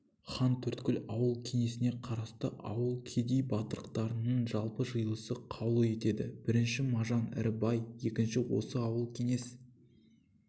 хантөрткіл ауыл кеңесіне қарасты ауыл кедей-батырақтарының жалпы жиылысы қаулы етеді бірінші мажан ірі бай екінші осы ауыл кеңес